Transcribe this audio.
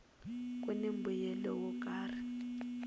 kuni mbuyelo wo karhi